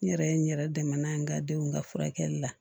N yɛrɛ ye n yɛrɛ dɛmɛ n'a ye n ka denw ka furakɛli la